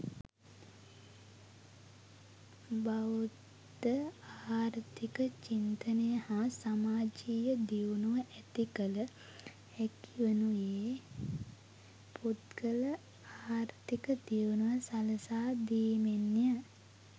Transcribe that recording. බෞද්ධ ආර්ථික චින්තනය හා සමාජීය දියුණුව ඇති කළ හැකිවනුයේ පුද්ගල ආර්ථික දියුණුව සලසා දීමෙන්ය.